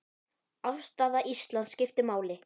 Afstaða Íslands skiptir máli.